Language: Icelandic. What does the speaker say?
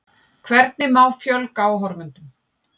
Hvernig má fjölga áhorfendum?